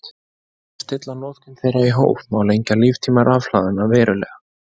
Með því að stilla notkun þeirra í hóf má lengja líftíma rafhlaðanna verulega.